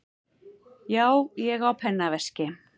Já, ég á pennaveski.